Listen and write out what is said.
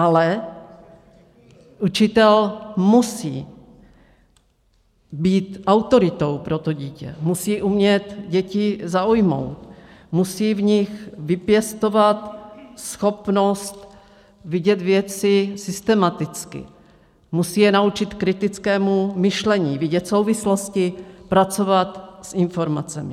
Ale učitel musí být autoritou pro to dítě, musí umět děti zaujmout, musí v nich vypěstovat schopnost vidět věci systematicky, musí je naučit kritickému myšlení, vidět souvislosti, pracovat s informacemi.